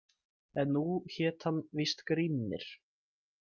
En nú hét hann víst Grímnir.